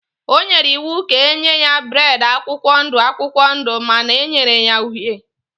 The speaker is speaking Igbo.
O nyere iwu ka e nye ya bead akwụkwọ ndụ akwụkwọ ndụ mana e nyere ya uhie.